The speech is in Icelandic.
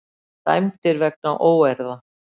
Dæmdir vegna óeirða